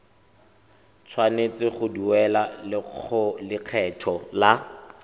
tshwanetse go duela lekgetho la